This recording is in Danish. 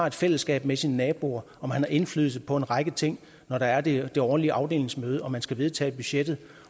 et fællesskab med sine naboer og man har indflydelse på en række ting når der er det årlige afdelingsmøde hvor man skal vedtage et budget